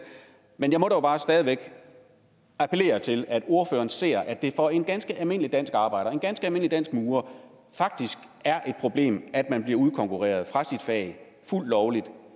men jeg må dog bare stadig væk appellere til at ordføreren ser at det for en ganske almindelig dansk arbejder en ganske almindelig dansk murer faktisk er et problem at man bliver udkonkurreret fra sit fag fuldt lovligt